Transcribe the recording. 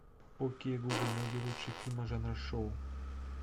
окей гугл найди лучшие фильмы жанра шоу